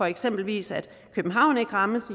eksempelvis københavn ikke rammes